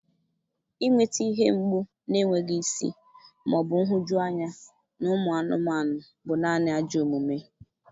Inweta ihe mgbu na-enweghị isi ma ọ bụ nhụjuanya na ụmụ anụmanụ bụ naanị ajọ omume.